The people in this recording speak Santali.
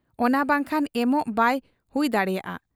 ᱚᱱᱟ ᱵᱟᱝᱠᱷᱟᱱ ᱮᱢᱚᱜ ᱵᱟᱭ ᱦᱩᱭ ᱫᱟᱲᱮᱭᱟᱜ ᱟ ᱾